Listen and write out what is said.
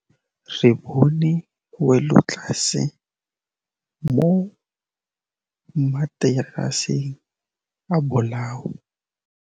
Re bone wêlôtlasê mo mataraseng a bolaô.